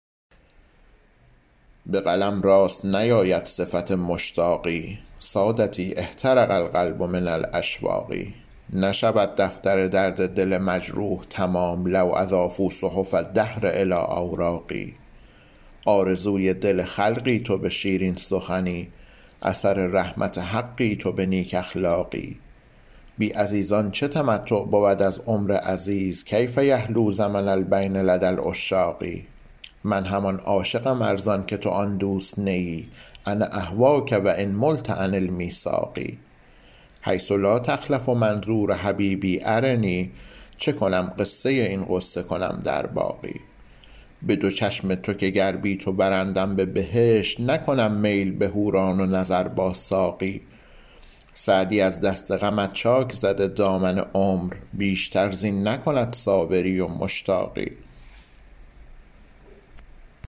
به قلم راست نیاید صفت مشتاقی سادتی احترق القلب من الاشواق نشود دفتر درد دل مجروح تمام لو اضافوا صحف الدهر الی اوراقی آرزوی دل خلقی تو به شیرین سخنی اثر رحمت حقی تو به نیک اخلاقی بی عزیزان چه تمتع بود از عمر عزیز کیف یحلو زمن البین لدی العشاق من همان عاشقم ار زان که تو آن دوست نه ای انا اهواک و ان ملت عن المیثاق حیث لا تخلف منظور حبیبی ارنی چه کنم قصه این غصه کنم در باقی به دو چشم تو که گر بی تو برندم به بهشت نکنم میل به حوران و نظر با ساقی سعدی از دست غمت چاک زده دامن عمر بیشتر زین نکند صابری و مشتاقی